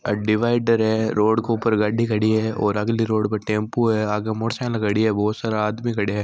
अ divider है road को ऊपर गाड़ी खड़ी है और अगली रोड पर टेम्पू है आगे मोटरसाइकिल खड़ी है बोहोत सारा आदमी खड्या है।